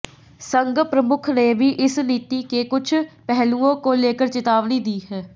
संघ प्रमुख ने भी इस नीति के कुछ पहलुओं को लेकर चेतावनी दी है